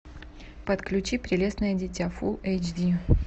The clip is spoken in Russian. подключи прелестное дитя фулл эйч ди